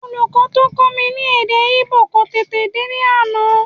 Olùkọ́ tó ń kọ́ mi ní èdè Ìgbò kò tèdè dé ní àná